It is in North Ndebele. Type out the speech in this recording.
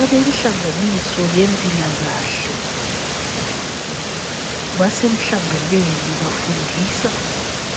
Abenhlanganiso yempilakahle basemhlanganweni bafundisa